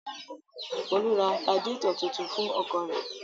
Folú ra radiátọ̀ tuntun fún ọkọ̀ rẹ̀?